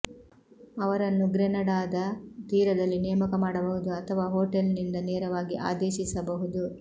ಅವರನ್ನು ಗ್ರೆನಡಾದ ತೀರದಲ್ಲಿ ನೇಮಕ ಮಾಡಬಹುದು ಅಥವಾ ಹೋಟೆಲ್ನಿಂದ ನೇರವಾಗಿ ಆದೇಶಿಸಬಹುದು